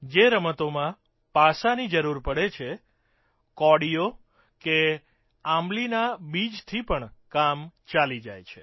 જે રમતોમાં પાસાંની જરૂર પડે છે કોડીઓ કે આંબલીનાં બીજથી પણ કામ ચાલી જાય છે